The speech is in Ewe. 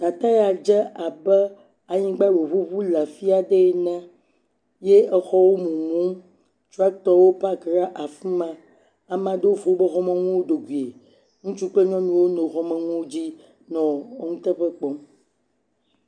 Teƒe ya dze abe anyigba ɖe wòŋuŋu le afi yae ne, ye exɔwo mumum, tractɔwo pack ɖe afi ma, ame aɖewo fɔ wpoƒe xɔmenuwo do goe, ŋutsu kple nyɔnuwo nɔ xɔme nuwo dzi nɔ nuteƒe kpɔm.